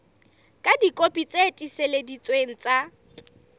ka dikopi tse tiiseleditsweng tsa